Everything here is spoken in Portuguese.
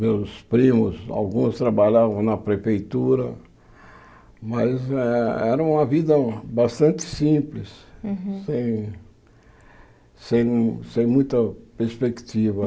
meus primos, alguns trabalhavam na prefeitura, mas eh era uma vida bastante simples, Uhum sem sem muita perspectiva.